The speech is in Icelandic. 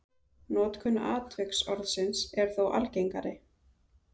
Notkun atviksorðsins er þó algengari.